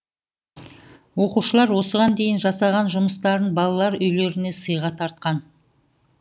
оқушылар осыған дейін жасаған жұмыстарын балалар үйлеріне сыйға тартқан